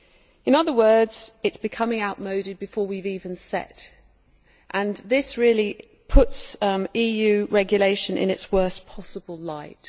In other words, it is becoming outmoded before we have even set it up, and this really puts EU regulation in its worst possible light.